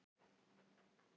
Leonardó, mun rigna í dag?